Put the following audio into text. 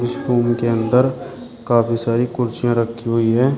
इस रूम के अंदर काफी सारी कुर्सियां रखी हुई हैं।